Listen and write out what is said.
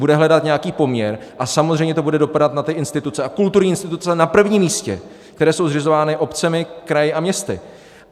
Bude hledat nějaký poměr a samozřejmě to bude dopadat na ty instituce, a kulturní instituce na prvním místě, které jsou zřizovány obcemi, kraji a městy.